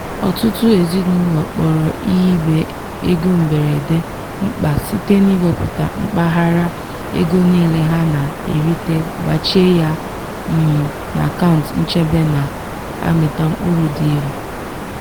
ọtụtụ ezinụlọ kpọrọ ihibe ego mberede mkpa site n'iwepụta mpaghara ego niile ha na-erita gbachie ya um n'akaụntụ nchebe na-amịta mkpụrụ dị elu.